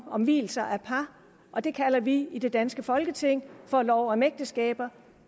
om vielser af par og det kalder vi i det danske folketing for lov om ægteskaber